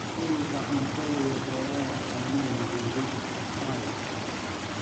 Ururka Cuntada iyo Beeraha ee Qaramada Midoobay (FAO)